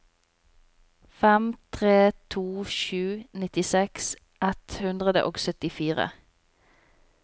fem tre to sju nittiseks ett hundre og syttifire